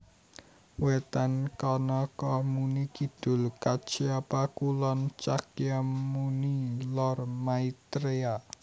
Wetan Kanakamuni Kidul Kacyapa Kulon Cakyamuni Lor Maitreya